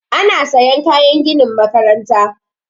Ana sayan kayan ginin makaranta